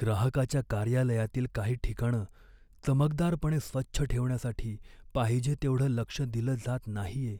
ग्राहकाच्या कार्यालयातील काही ठिकाणं चमकदारपणे स्वच्छ ठेवण्यासाठी पाहिजे तेवढं लक्ष दिलं जात नाहीये